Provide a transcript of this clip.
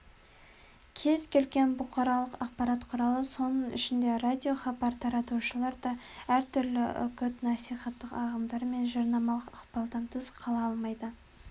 кез-келген бұқаралық ақпарат құралы соның ішінде радиохабар таратушылар да әртүрлі үгіт-насихаттық ағымдар мен жарнамалық ықпалдан тыс қала алмайды